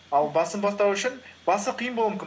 ал басын бастау үшін басы қиын болуы мүмкін